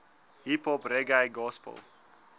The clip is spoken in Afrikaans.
hiphop reggae gospel